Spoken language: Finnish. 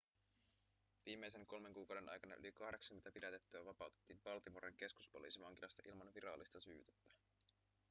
viimeisen kolmen kuukauden aikana yli 80 pidätettyä vapautettiin baltimoren keskuspoliisivankilasta ilman virallista syytettä